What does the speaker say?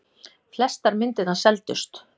Flestar myndirnar seldust.